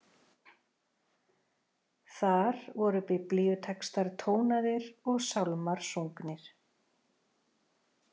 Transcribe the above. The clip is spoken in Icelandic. Þar voru biblíutextar tónaðir og sálmar sungnir.